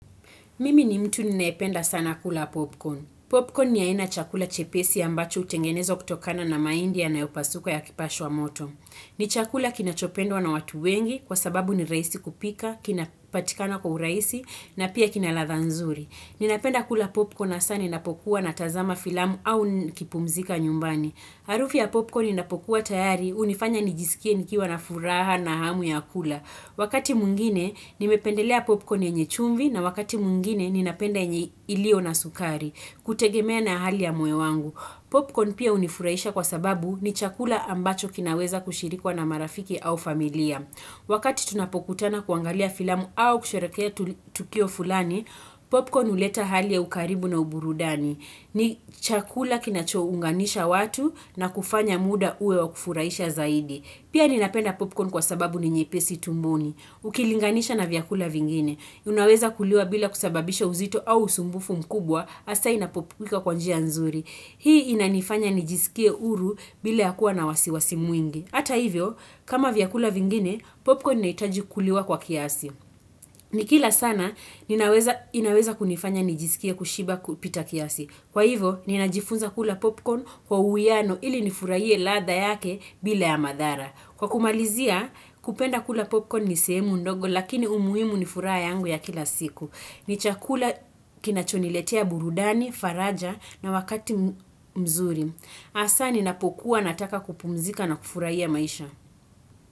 Mimi ni mtu ninayependa sana kula popcorn. Popcorn ni aina ya chakula chepesi ambacho hutengenezwa kutokana na mahindi yanayo pasuka yakipashwa moto. Ni chakula kinachopendwa na watu wengi kwa sababu ni rahisi kupika, kinapatikana kwa urahisi na pia kina ladha nzuri. Ninapenda kula popcorn na sana inapokuwa na tazama filamu au nikipumzika nyumbani. Harufu ya popcorn inapokuwa tayari hunifanya nijisikie nikiwa na furaha na hamu ya kula. Wakati mwingine nimependelea popcorn yenye chumvi na wakati mwingine ninapenda yenye ilio na sukari hutegemea na hali ya moyo wangu. Popcorn pia hunifuraisha kwa sababu ni chakula ambacho kinaweza kushirikwa na marafiki au familia. Wakati tunapokutana kuangalia filamu au kusherehekea tukio fulani, popcorn huleta hali ya ukaribu na uburudani. Ni chakula kinacho unganisha watu na kufanya muda uwe wa kufurahisha zaidi. Pia ninapenda popcorn kwa sababu ni nyepesi tumboni. Ukilinganisha na vyakula vingine. Unaweza kuliwa bila kusababisha uzito au usumbufu mkubwa, asa inapopuka kwa njia nzuri. Hii inanifanya nijisikie huru bila ya kuwa na wasiwasi mwingi. Hata hivyo, kama vyakula vingine, popcorn inahitaji kuliwa kwa kiasi. Nikila sana, inaweza kunifanya nijisikie kushiba kupita kiasi. Kwa hivyo, ninajifunza kula popcorn kwa uwiano ili nifurahie ladha yake bila ya madhara. Kwa kumalizia kupenda kula popcorn ni sehemu ndogo lakini umuhimu ni furaha yangu ya kila siku. Ni chakula kinachoniletea burudani, faraja na wakati mzuri. Hasa ninapokuwa nataka kupumzika na kufurahia maisha.